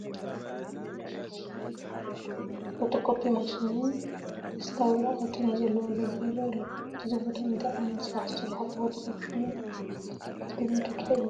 ፎቶ ኮፒ ማሽንን ደስጣ ወረቓቕትን ዘለዉዎ ገዛ ይርአ ኣሎ፡፡ እዚ ቦታ እንታይ ዓይነት ስራሕ ዝስርሐሉ ቦታ ከምዝኾነ ግትግምቱ ትኽእሉ ዶ?